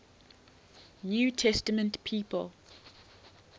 new testament people